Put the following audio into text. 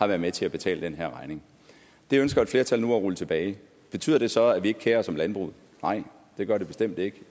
været med til at betale den her regning det ønsker et flertal nu at rulle tilbage betyder det så at vi ikke kerer os om landbruget nej det gør det bestemt ikke